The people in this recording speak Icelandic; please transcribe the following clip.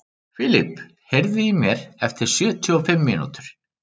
Filip, heyrðu í mér eftir sjötíu og fimm mínútur.